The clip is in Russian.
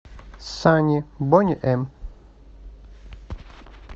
санни бони эм